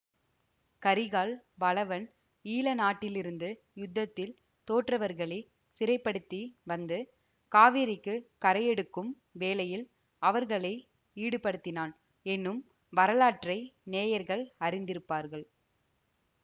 கரிகால் வளவன் ஈழ நாட்டிலிருந்து யுத்தத்தில் தோற்றவர்களைச் சிறைப்படுத்தி வந்து காவேரிக்குக் கரையெடுக்கும் வேலையில் அவர்களை ஈடுபடுத்தினான் என்னும் வரலாற்றை நேயர்கள் அறிந்திருப்பார்கள்